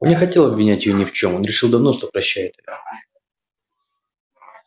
он не хотел обвинять её ни в чём он решил давно что прощает её